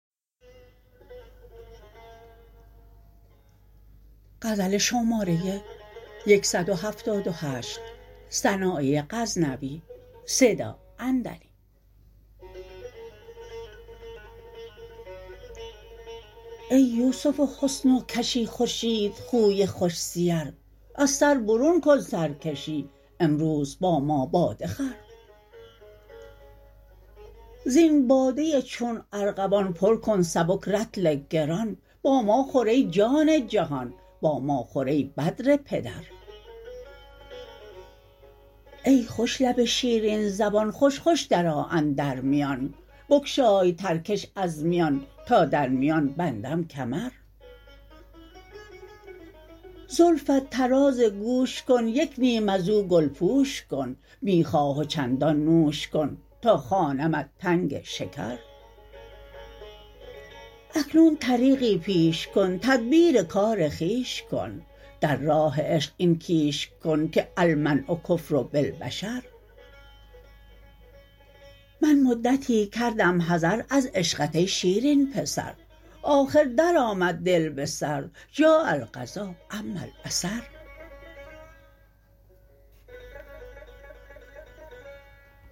ای یوسف حسن و کشی خورشید خوی خوش سیر از سر برون کن سرکشی امروز با ما باده خور زین باده چون ارغوان پر کن سبک رطل گران با ما خور ای جان جهان با ما خور ای بدر پدر ای خوش لب شیرین زبان خوش خوش در آ اندر میان بگشای ترکش از میان تا در میان بندم کمر زلفت طراز گوش کن یک نیم ازو گل پوش کن می خواه و چندان نوش کن تا خوانمت تنگ شکر اکنون طریقی پیش کن تدبیر کار خویش کن در راه عشق این کیش کن ک المنع کفر بالبشر من مدتی کردم حذر از عشقت ای شیرین پسر آخر درآمد دل به سر جاء القضا عمی البصر